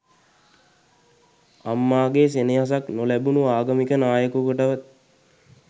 අම්මා ගේ සෙනහසක් නොලැබුනු ආගමික නායකයකුටවත්